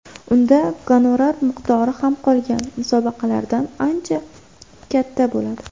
Unda gonorar miqdori ham qolgan musobaqalardan ancha katta bo‘ladi.